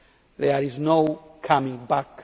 There is no going back.